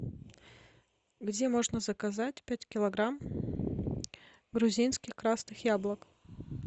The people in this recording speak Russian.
где можно заказать пять килограмм грузинских красных яблок